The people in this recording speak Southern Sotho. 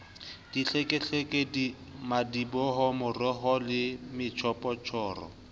dihlekehleke madiboho marokgo le metjhophoro